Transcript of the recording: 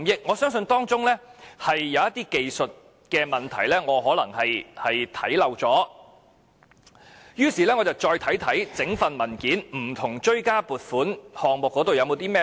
我相信當中有些技術性問題可能是我忽略了，於是我再看看整份文件不同的追加撥款項目有甚麼線索。